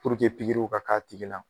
ka k'a tigi la.